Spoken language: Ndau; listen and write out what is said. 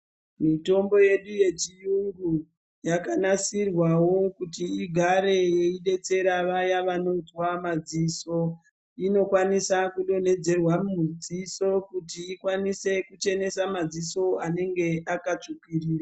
Mitombo yedu yechiyungu yakanasirwawo kuti igare yeidetsera vaya vanonzwa madziso inokwanisa kudonhedzerwa mudziso kuti ikwanise kuchenesa madziso anenge akatsvukirira.